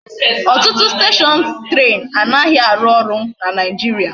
Otutu station train anaghi aru oru na naijiria